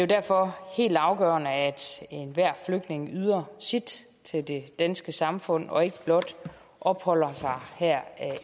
derfor helt afgørende at enhver flygtning yder sit til det danske samfund og ikke blot opholder sig her